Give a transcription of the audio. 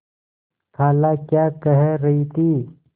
खाला क्या कह रही थी